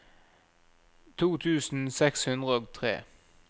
to tusen seks hundre og tre